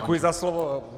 Děkuji za slovo.